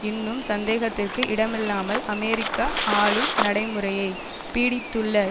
இன்னும் சந்தேகத்திற்கு இடமில்லாமல் அமெரிக்க ஆளும் நடைமுறையை பீடித்துள்ள